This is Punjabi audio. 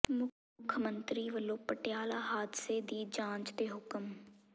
ਮੁੱਖ ਮੰਤਰੀ ਵੱਲੋਂ ਪਟਿਆਲਾ ਹਾਦਸੇ ਦੀ ਜਾਂਚ ਦੇ ਹੁਕਮ